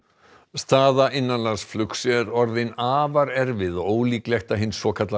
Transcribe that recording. staða innanlandsflugs er orðin afar erfið og ólíklegt að hin svokallaða